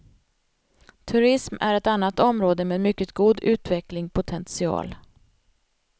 Turism är ett annat område med mycket god utvecklingpotential.